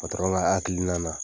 O taara hakilina na.